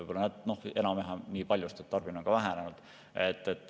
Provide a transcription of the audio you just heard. Võib-olla enam-vähem nii palju, sest tarbimine on ka vähenenud.